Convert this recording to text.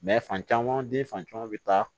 fan caman den fan caman bɛ taa